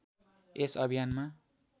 यस अभियानमा